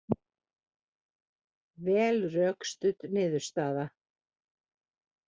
Vel rökstudd niðurstaða